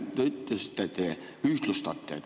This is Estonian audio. Te ütlesite, et te ühtlustate.